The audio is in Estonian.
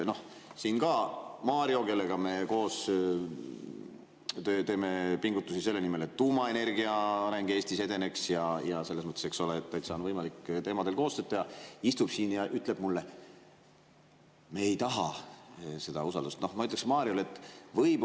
Siin Mario, kellega me teeme koostööd ja pingutusi selle nimel, et tuumaenergia areng Eestis edeneks, selles mõttes, eks ole, täitsa võimalik on nendel teemadel koostööd teha, istub siin ja ütleb mulle, et me ei taha seda usaldus.